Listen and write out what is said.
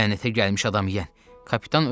Lənətə gəlmiş adam yiyən, kapitan özündən çıxdı.